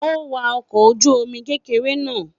A n wa ọkọ̀ ojú omi kékeré náà